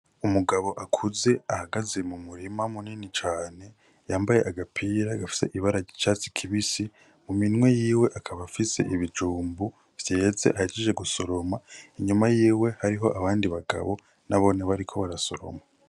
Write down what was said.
Umugabo akuze ahagaze mu murima munini cane yambaye agapira gafise ibara ry’icatsi kibisi mu minwe yiwe akaba afise ibijumbu vyeze ahejeje gusoroma , inyuma yiwe hariho abandi bagabo nabone bariko barasoroma.